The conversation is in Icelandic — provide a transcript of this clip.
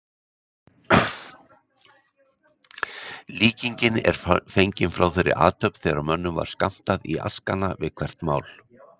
Líkingin er fengin frá þeirri athöfn þegar mönnum var skammtað í askana við hvert mál.